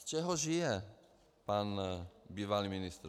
Z čeho žije pan bývalý ministr?